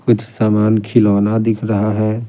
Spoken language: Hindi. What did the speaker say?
कुछ सामान खिलौना दिख रहा है ।